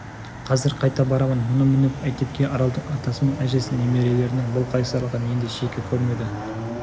қазір қайта барамын мұны мініп мектепке аралдың атасы мен әжесі немерелерінің бұл қайсарлығын енді шеккі көрмеді